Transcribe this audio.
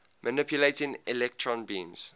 manipulating electron beams